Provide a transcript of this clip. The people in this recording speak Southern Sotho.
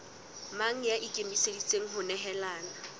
mang ya ikemiseditseng ho nehelana